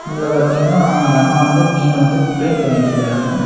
உள்ள பாத்தீங்கன்னா அந்த அம்மா வந்து மீன வந்து கிளீன் பண்ணிட்ருக்குறாங்க.